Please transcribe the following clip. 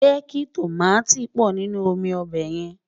jékí tọ̀máti pò nínú omí óbè rè